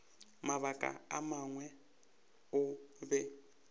mabaka a mangwe o be